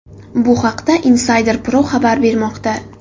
Bu haqda Insider Pro xabar bermoqda .